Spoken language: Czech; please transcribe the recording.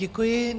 Děkuji.